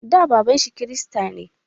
Da, baban shi kirista ne.